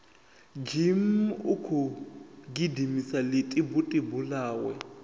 zhimmm ukhou gidimisa ḽitibutibu ḽawe